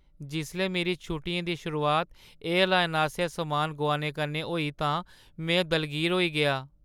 जिसलै मेरी छुट्टियें दी शुरुआत एयरलाइन आसेआ समान गोआने कन्नै होई तां में दलगीर होई गेआ।